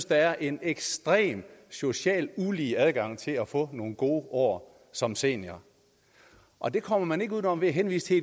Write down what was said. der er en ekstremt socialt ulige adgang til at få nogle gode år som senior og det kommer man ikke uden om ved at henvise